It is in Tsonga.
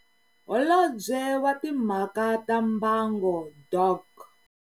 Holobye wa Timhaka ta Mbango Dok.